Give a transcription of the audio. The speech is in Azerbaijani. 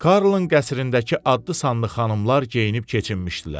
Karlın qəsrindəki adlı-sanlı xanımlar geyinib keçinmişdilər.